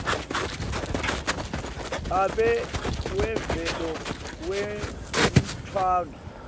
babe wemvelo wemntfwana